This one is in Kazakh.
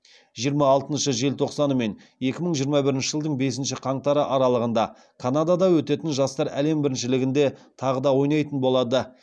жиырма алтыншы желтоқсаны мен екі мың жиырма бірінші жылдың бесінші қаңтары аралығында канадада өтетін жастар әлем біріншілігінде тағы да ойнайтын болады